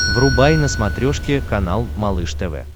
врубай на смотрешке канал малыш тв